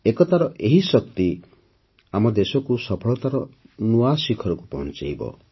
ଏକତାର ଏହି ଶକ୍ତି ଆମ ଦେଶକୁ ସଫଳତାର ନୂତନ ଶିଖରକୁ ପହଞ୍ଚାଇବ